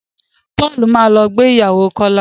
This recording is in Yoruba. Paul má lọ ìgbéyàwó Kola